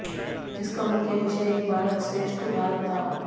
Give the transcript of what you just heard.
जिसका मुख्य विषय एक भारत श्रेष्ठ भारत था